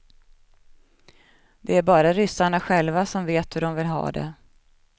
Det är bara ryssarna själva som vet hur de vill ha det.